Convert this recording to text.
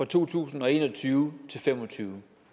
to tusind og en og tyve til fem og tyve